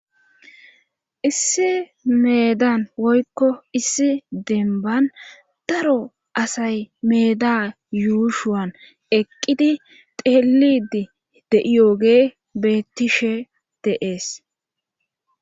issi meedan woykko issi denban daro asay meeda yuushuwan eqqidi teelidi de'yoogey bettishe de'ees